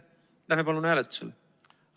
Läheme palun hääletuse juurde!